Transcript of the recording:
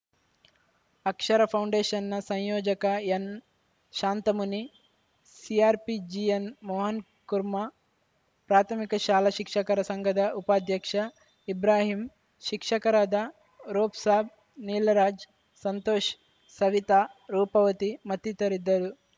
ಅಕ್ಷರ ಪೌಂಡೇಷನ್‌ನ ಸಂಯೋಜಕ ಎನ್‌ಶಾಂತಮುನಿ ಸಿಆರ್‌ಪಿ ಜಿಎನ್‌ಮೋಹನ್‌ ಕುರ್ಮಾ ಪ್ರಾಥಮಿಕ ಶಾಲಾ ಶಿಕ್ಷಕರ ಸಂಘದ ಉಪಾಧ್ಯಕ್ಷ ಇಭ್ರಾಹಿಂ ಶಿಕ್ಷಕರಾದ ರೋಪ್‌ಸಾಬ್‌ ನೀಲರಾಜ್‌ ಸಂತೋಷ್ ಸವಿತಾರೂಪವತಿ ಮತ್ತಿತರರಿದ್ದರು